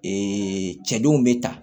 cɛ denw bɛ ta